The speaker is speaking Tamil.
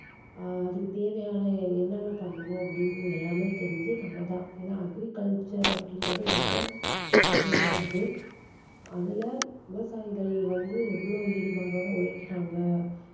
ஆஹ் அதுக்கு தேவையான என்னென்ன பண்ணணும் அப்படீன்னு எல்லாமே தெரிஞ்சு நம்ம தான் ஏன்னா agriculture அப்படீங்கறது ரொம்ப முக்கியமானது அதுல விவசாயிகள் வந்து எவ்வளோ ஈடுபாடோட உழைக்கிறாங்க